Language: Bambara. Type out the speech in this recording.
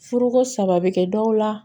Furuko saba bɛ kɛ dɔw la